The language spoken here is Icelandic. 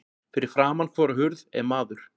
Fyrir framan hvora hurð er maður.